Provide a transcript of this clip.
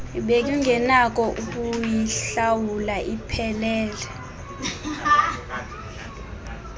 bengenakho ukuyihlawula iphelele